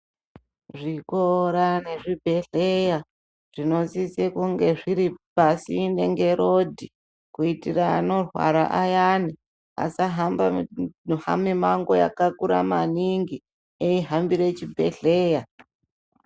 Zvikora nezvibhedhlera zvinosisa kunge zviri pasinde nerodhi kuitira ana rwara ayani asahamba mumango maningi eihambira chibhedhlera.